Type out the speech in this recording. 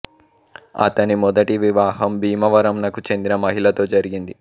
అతని మొదటి వివాహం భీమవరం నకు చెందిన మహిళతో జరిగింది